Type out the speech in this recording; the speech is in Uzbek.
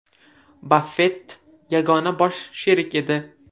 Baffett yagona bosh sherik edi.